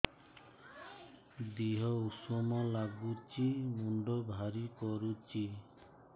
ଦିହ ଉଷୁମ ନାଗୁଚି ମୁଣ୍ଡ ଭାରି କରୁଚି